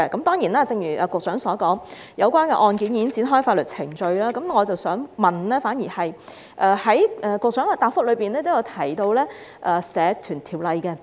當然，正如局長所說，有關案件已經展開法律程序，我反而想問關於局長在答覆中提到的《社團條例》。